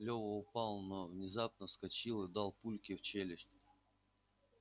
лева упал но внезапно вскочил и дал папульке в челюсть